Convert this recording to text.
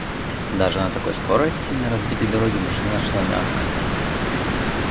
даже на такой скорости и на разбитой дороге машина шла мягко